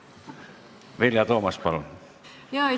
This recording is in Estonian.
Vilja Toomast, palun!